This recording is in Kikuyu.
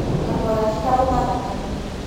Kanua gake karauma thakame